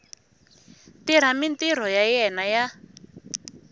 tirha mintirho ya yena ya